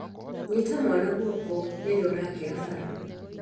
Nyita mwana guoko rĩrĩa ũrakira fara